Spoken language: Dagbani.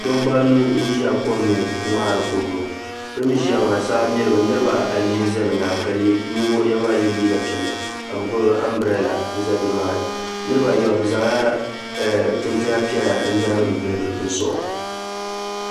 Dabba anu n ʒi kom ni ŋmɛri kɔdu maa bɛni ʒiya maa saa mirimi niriba ayi za bɛ nyaaŋa ka ninvuɣ'yino maa ye liiga piɛlli ka bɛ gbubi ambirila n za niriba ayi maa zaŋla chinchini piɛlla zaŋ volli o zuɣu.